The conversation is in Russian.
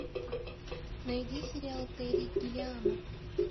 найди сериал терри гиллиама